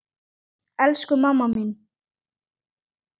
Elsku mamma mín!